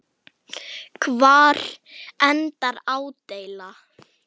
Hvar endar ádeila?